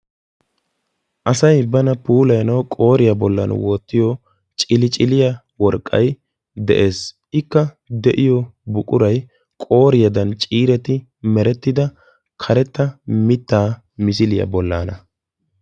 Asay bana puulayanawu qooriya bollan wottiyo ciliccilya worqqay de'ees. Ikka de'iyo buquray qooriyadan ciiretti merettida karetta mittaa misiliya bollaana.